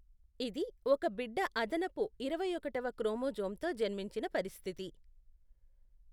ఇది ఒక బిడ్డ అదనపు ఇరవైఒకటవ క్రోమోజోమ్తో జన్మించిన పరిస్థితి.